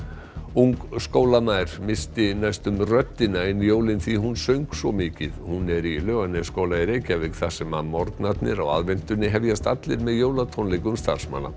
ung missti næstum röddina ein jólin því hún söng svo mikið hún er í Laugarnesskóla í Reykjavík þar sem morgnarnir á aðventunni hefjast allir með jólatónleikum starfsmanna